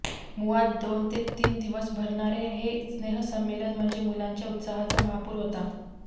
मुळात दोन ते तीन दिवस भरणारे हे स्नेहसंमेलन म्हणजे मुलांच्या उत्साहाचा महापूर होता